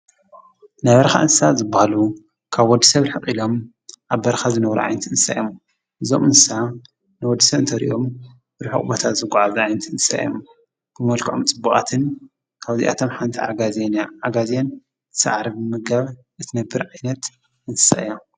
ናይ በረኻ እንስሳት ዝብሃሉ ካብ ወዲሰብ ርሐቕ ኢሎም ኣብ በረኻ ዝነብሩ ዓይነት እንስሳት እዮም እዞም እንስሳት ንወዲሰብ እንተርእዮም ርሑቕ ቦታ ዝጐዓዙ ዓይነት እንስሳት እዮም ብመልክዖም ጽቡቓትን ካብዚኣቶም ሓንቲ ዓጋዜን እያ ዓጋዜን ሳዕሪ ብምምጋብ እትነብር ዓይነት እንስሳ እያ